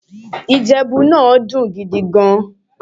Ìjẹ̀bú náà dùn ún jẹ gan-an